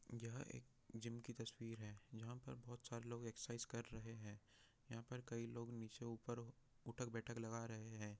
यह एक जिम की तस्वीर है यहाँ पे बहुत सरे लोग एक्सेरसाइज कर रहे है यहाँ पर कई लोग निचे ऊपर उठक बैठक लगा रहे हैं।